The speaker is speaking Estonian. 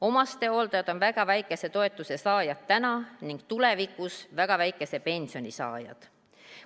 Omastehooldajad on täna väga väikese toetuse saajad ning tulevikus väga väikese pensioni saajad.